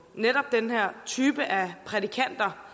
netop den her type af prædikanter